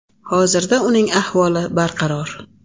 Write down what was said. Hozirda uning ahvoli barqaror.